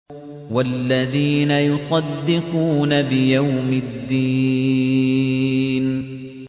وَالَّذِينَ يُصَدِّقُونَ بِيَوْمِ الدِّينِ